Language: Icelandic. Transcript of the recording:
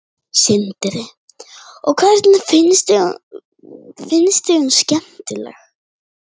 Sindri: Og finnst þér hún skemmtileg?